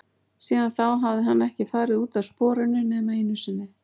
Síðan þá hafði hann ekki farið út af sporinu nema einu sinni.